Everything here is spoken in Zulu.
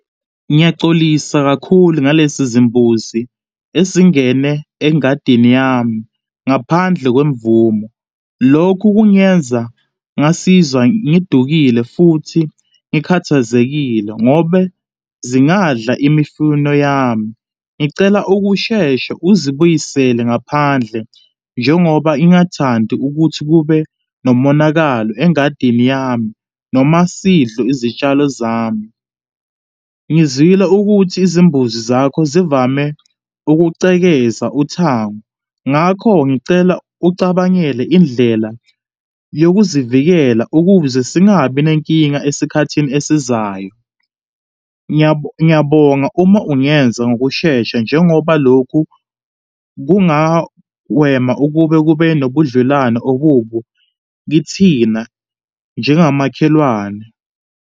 Ngiyaxolisa kakhulu ngalesizimbuzi esingene engadini yami ngaphandle kwemvumo. Lokhu kungenza ngasizwa ngidukile futhi ngikhathazekile ngobe zingadla imifino yami. Ngicela ukusheshe uzoyibuyisele ngaphandle njengoba ingathandi ukuthi kube nomonakalo engadini yami noma sidlo izitshalo zami. Ngizwile ukuthi izimbuzi zakho zivame ukucekeza uthango, ngakho ngicela ucabangele indlela yokuzivikela ukuze singabi nenkinga esikhathini esizayo. Ngiyabonga uma ungenza ngokushesha njengobalokhu kungagwema ukuba kube nobudlelwano obubo kithina njengamakhelwane.